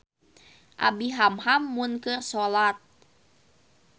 Abi hamham mun keur solat